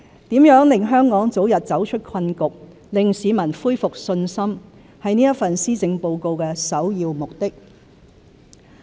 如何令香港早日走出困局、令市民恢復信心，是這份施政報告的首要目的。